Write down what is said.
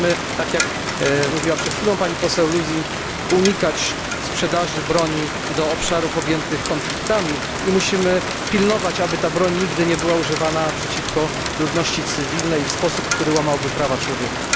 Musimy, tak jak mówiła przed chwilą pani posłanka Lösing, unikać sprzedaży broni do obszarów objętych konfliktami i musimy pilnować, aby ta broń nigdy nie była używana przeciwko ludności cywilnej i w sposób, który łamałby prawa człowieka.